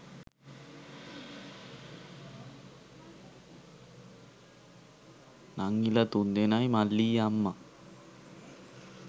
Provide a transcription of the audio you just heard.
නංගිලා තුන්දෙනයි මල්ලියි අම්මා